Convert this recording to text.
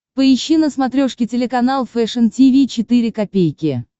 поищи на смотрешке телеканал фэшн ти ви четыре ка